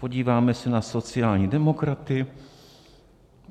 Podíváme se na sociální demokraty.